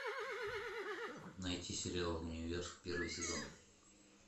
найти сериал универ первый сезон